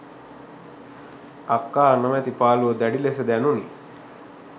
අක්කා නොමැති පාලූව දැඩි ලෙස දැනුනි.